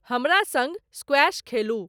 हमरा सँग स्क्वायश खेलु